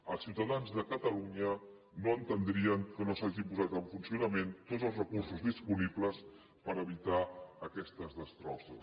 els ciutadans de catalunya no entendrien que no s’hagin posat en funcionament tots els recursos disponibles per evitar aquestes destrosses